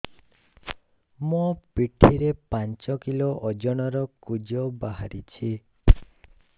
ମୋ ପିଠି ରେ ପାଞ୍ଚ କିଲୋ ଓଜନ ର କୁଜ ବାହାରିଛି